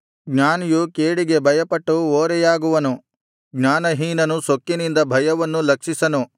ಜ್ಞಾನಿಯು ಕೇಡಿಗೆ ಭಯಪಟ್ಟು ಓರೆಯಾಗುವನು ಜ್ಞಾನಹೀನನು ಸೊಕ್ಕಿನಿಂದ ಭಯವನ್ನು ಲಕ್ಷಿಸನು